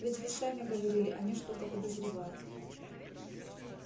ведь вы сами говорили они что-то подозревают